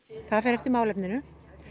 það fer eftir málefninu